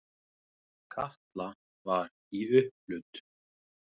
Kata var í upphlut.